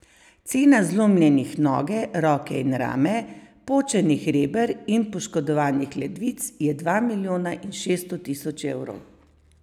Cena zlomljenih noge, roke in rame, počenih reber in poškodovanih ledvic je dva milijona in šeststo tisoč evrov.